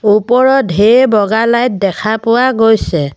ওপৰত ঢেৰ বগা লাইট দেখা পোৱা গৈছে।